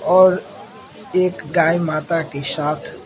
और एक गाय माता के साथ --